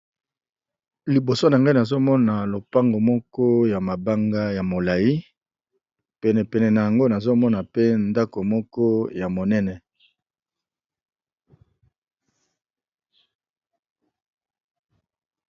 liboso na ngai nazomona lopango moko ya mabanga ya molai penepene na yango nazomona pe ndako moko ya monene